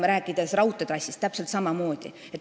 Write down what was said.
Rääkides raudteetrassist, seal on täpselt samamoodi.